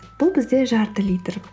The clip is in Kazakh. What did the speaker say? бұл бізде жарты литр